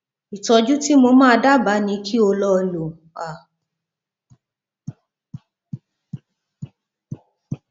ìtọjú tí mo máa dábàá ni kí o lọ lo a